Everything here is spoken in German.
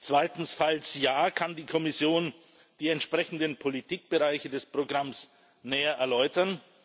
Zweitens, falls ja Kann die Kommission die entsprechenden Politikbereiche des Programms näher erläutern?